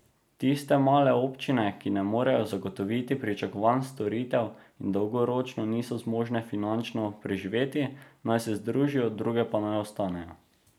Tiste male občine, ki ne morejo zagotoviti pričakovanih storitev in dolgoročno niso zmožne finančno preživeti, naj se združijo, druge pa naj ostanejo.